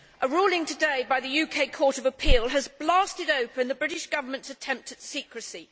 A ruling today by the UK Court of Appeal has blasted open the British Government's attempt at secrecy.